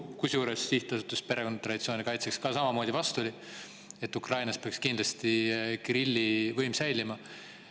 Kusjuures ka Sihtasutus Perekonna ja Traditsiooni Kaitseks oli samamoodi selle vastu, leides, et Ukrainas peaks kindlasti Kirilli võim säilima.